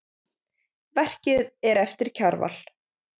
Verkið er eftir Kjarval.